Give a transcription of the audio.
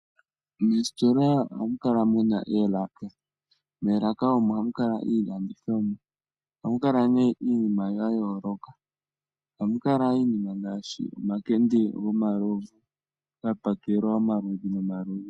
Moositola ohamu kala mu na oolaka. Moolaka omo hamu kala iilandithomwa. Ohamu kala nee iinima ya yooloka, ohamu kala iinima ngaashi omakende gomalovu gapakelwa omaludhi nomaludhi.